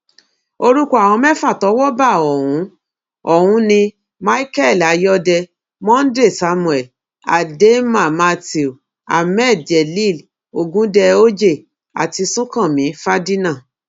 orúkọ àwọn mẹ́fà tọ́wọ́ bà ọ̀hún ọ̀hún ni michael ayọ́dẹ monday samuel ademma matthew hammed jelil ogundẹ ojeh àti sunkànmí fàdínà